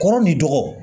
Kɔrɔ ni dɔgɔ